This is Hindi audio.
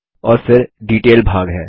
और फिर डिटेल भाग है